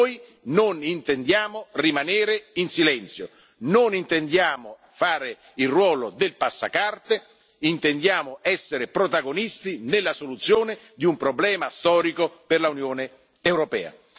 Noi non intendiamo rimanere in silenzio, non intendiamo fare il ruolo del passacarte, intendiamo essere protagonisti nella soluzione di un problema storico per l'Unione europea.